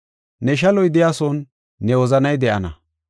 Ne shaloy de7iyasuwan ne wozanay de7ana.